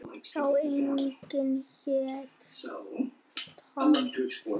Sá yngri hét Tom.